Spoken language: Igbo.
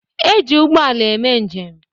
E ji ụgbọala eme njem